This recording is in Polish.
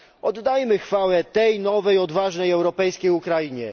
Oddajmy chwałę tej nowej odważnej europejskiej Ukrainie.